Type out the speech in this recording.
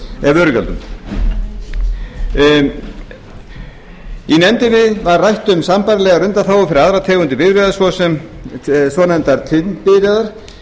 vörugjöldum í nefndinni var rætt um sambærilegar undanþágur fyrir aðrar tegundir bifreiða til dæmis svonefndar tvinnbifreiðar í ljós